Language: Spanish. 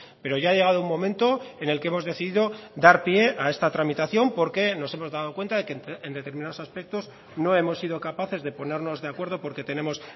pero ya ha llegado un momento en el que hemos decidido dar pie a esta tramitación porque nos hemos dado cuenta que en determinados aspectos no hemos sido capaces de ponernos de acuerdo porque tenemos